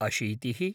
अशीतिः